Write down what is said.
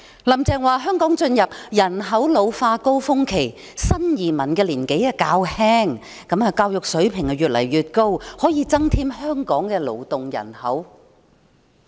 "林鄭"說，香港進入了人口老化高峰期，新移民的年紀較輕，教育水平也越來越高，可以增添香港的勞動人口。